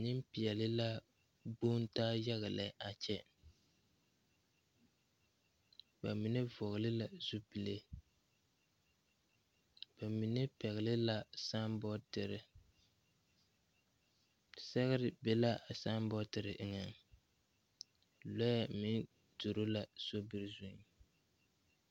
Nempeɛle la gbontaa yaga lɛ a kyɛ bamine vɔgle la zupile bamine pɛgle la saabotere sɛgere be ka a saabotere eŋa lɔɛ tuuro a sobiri zu.